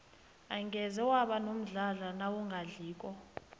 angeze waba nomdlandla nawungadliko